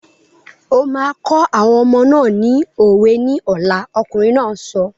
O máa kọ́ àwọn ọmọ náà ni òwe ní ọ̀la! Ọkùnrin náà sọ.